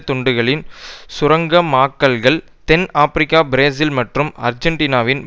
துண்டங்களின் சுரங்கமாக்கல்கள் தென் Africa Brazil மற்றும் ஆர்ஜன்டீனாவின்